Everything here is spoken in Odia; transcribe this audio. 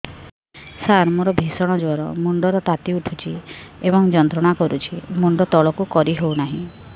ସାର ମୋର ଭୀଷଣ ଜ୍ଵର ମୁଣ୍ଡ ର ତାତି ଉଠୁଛି ଏବଂ ଯନ୍ତ୍ରଣା କରୁଛି ମୁଣ୍ଡ ତଳକୁ କରି ହେଉନାହିଁ